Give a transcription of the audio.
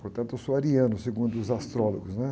Portanto, eu sou ariano, segundo os astrólogos, né?